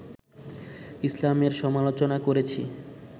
ইসলামের সমালোচনা করেছি